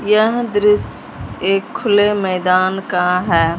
यह दृश्य एक खुले मैदान का है।